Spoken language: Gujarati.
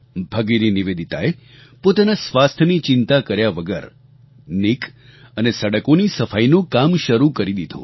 ભગિની નિવેદિતાએ પોતાના સ્વાસ્થ્યની ચિંતા કર્યા વગર નીક અને સડકોની સફાઈનું કામ શરૂ કરી દીધું